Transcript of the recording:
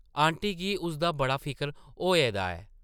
Aunty गी उसदा बड़ा फिकर होए दा ऐ ।